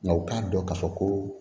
Nka u k'a dɔn k'a fɔ ko